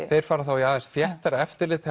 þeir fara þá í aðeins þéttara eftirlit